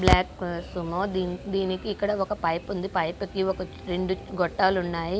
Black కో-సుమో దిం-దీనికి ఇక్కడ ఒక పైప్ ఉంది. పైప్ కి ఒక రెండు గొట్టాలున్నాయి.